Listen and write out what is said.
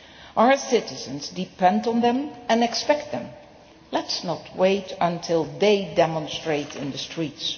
Our citizens depend on them and expect them. Let us not wait until they demonstrate in the streets.